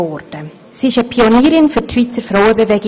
Sie war eine Pionierin der Schweizer Frauenbewegung.